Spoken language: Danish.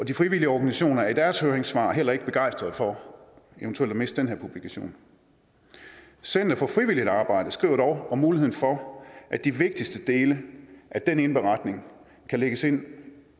de frivillige organisationer er i deres høringssvar heller ikke begejstrede for eventuelt at miste den her publikation center for frivilligt socialt arbejde skriver dog om muligheden for at de vigtigste dele af den indberetning kan lægges ind